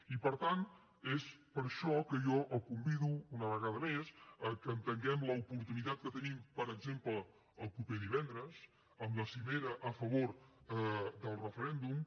i per tant és per això que jo el convido una vegada més que entenguem l’oportunitat que tenim per exemple el proper divendres amb la cimera a favor del referèndum